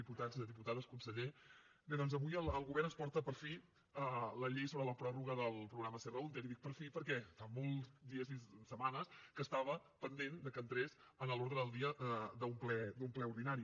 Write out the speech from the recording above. diputats diputades conseller bé doncs avui el govern ens porta per fi la llei sobre la pròrroga del programa serra húnter i dic per fi perquè fa molts dies i setmanes que estava pendent que entrés a l’ordre del dia d’un ple ordinari